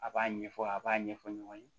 A b'a ɲɛfɔ a b'a ɲɛfɔ ɲɔgɔn ye